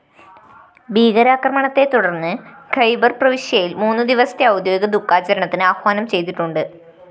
ഭീകരാക്രമണത്തെത്തുടര്‍ന്ന് ഖൈബര്‍ പ്രവിശ്യയില്‍ മൂന്നുദിവസത്തെ ഔദ്യോഗിക ദുഖാചരണത്തിന് ആഹ്വാനം ചെയ്തിട്ടുണ്ട്